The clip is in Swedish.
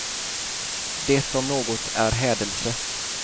Det om något är hädelse.